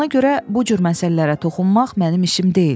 Ona görə bu cür məsələlərə toxunmaq mənim işim deyil.